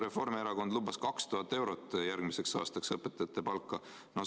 Reformierakond lubas järgmiseks aastaks õpetajatele 2000-eurost palka.